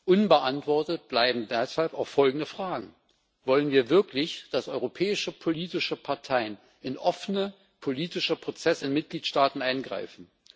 Unbeantwortet bleiben deshalb auch folgende Fragen Wollen wir wirklich, dass europäische politische Parteien in offene politische Prozesse in Mitgliedstaaten eingreifen?